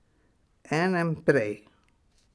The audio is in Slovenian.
Enem prej?